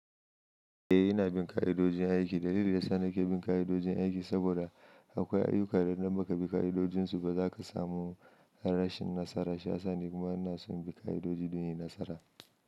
Eh ina bin ka'idojin aiki. Dalili da yasa nake bin ka'idojin aiki saboda akwai ayyuka da idan bakabi ka'idojin suba zaka samu rashin nasara. Shiyasa ni kuma ina son bin ka'idoji don yin nasara.